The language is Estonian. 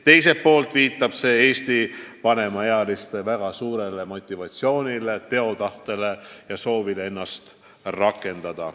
Teiselt poolt viitab see Eesti vanemaealiste väga suurele motivatsioonile, teotahtele ja soovile ennast rakendada.